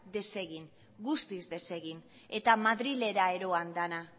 desegitea guztiz desegitea eta madrilera eroan dena